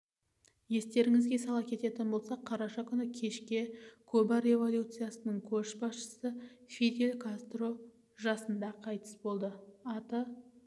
естеріңізге сала кететін болсақ қараша күні кешке куба революциясының көшбасшысы фидель кастро жасында қайтыс болды аты